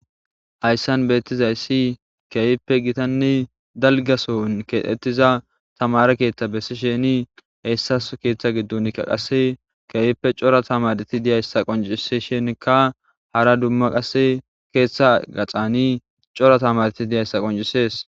hayssan beettizayssi keeyippe gitanni dalgason keexetiza tamara keeththa bessi sheeni heyssas keeththa giddunkka qasse keeyippe cora tamarti diyayssa qoncise shenka hara dumma qasse keeththa gaxani cora tamareti diyayssa qoncisees